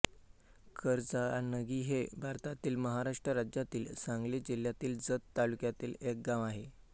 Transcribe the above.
करजनागी हे भारतातील महाराष्ट्र राज्यातील सांगली जिल्ह्यातील जत तालुक्यातील एक गाव आहे